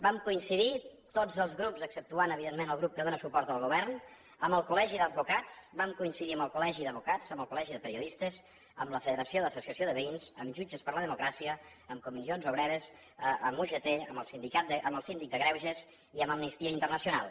vam coincidir hi tots els grups exceptuant evidentment el grup que dóna suport al govern amb el col·legi d’advocats vam coincidir amb el col·legi d’advocats amb el col·legi de periodistes amb la federació d’associacions de veïns amb jutges per la democràcia amb comissions obreres amb ugt amb el síndic de greuges i amb amnistia internacional